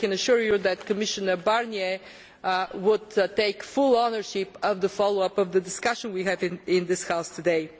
I can assure you that Commissioner Barnier will take full ownership of the follow up of the discussion we have had in this House today.